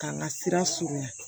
K'an ka sira surunya